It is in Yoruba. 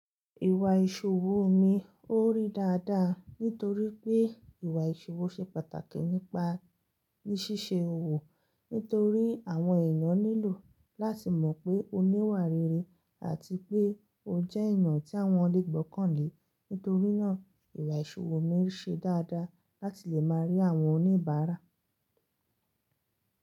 Ìwà ìṣòwò mi ò rí dáadáa nítorí pé ìwà ìṣòwò ṣe pàtàkì nípa ní ṣíṣe òwò nítorí àwọn ènìyàn nílò láti mọ̀ pé o níwà rere àti pé o jẹ́ ènìyàn tí àwọn lè gbọ́kàn lé. Nítorí náà ìwà ìṣòwò mi ṣe dáadáa láti lè máa rí àwọn oníbàárà.